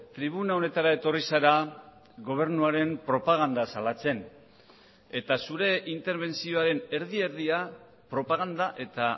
tribuna honetara etorri zara gobernuaren propaganda salatzen eta zure interbentzioaren erdi erdia propaganda eta